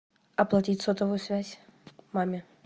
оплатить сотовую связь маме